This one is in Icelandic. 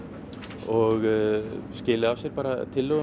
og skili af sér